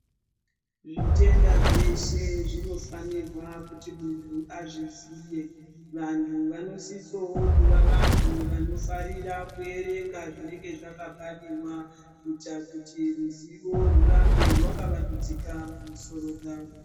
Zvitenda zveshe zvinofanirwa kuti muntu azvizive. Vantu vanosisawo kuva vanofarira kuerenga zvinenge zvakabhariwa kuitira kuti ruzivo rirambe rwakavandudzika mumusororo dzavo.